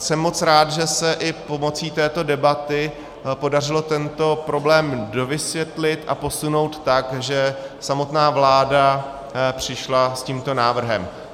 Jsem moc rád, že se i pomocí této debaty podařilo tento problém dovysvětlit a posunout tak, že samotná vláda přišla s tímto návrhem.